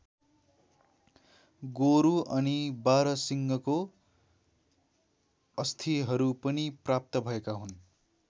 गोरु अनि बारहसिंघको अस्थिहरू पनि प्राप्त भएका हुन्।